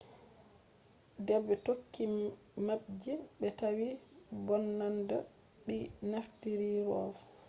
debe tokki mapji be tawi mbononnada debi naftiri rov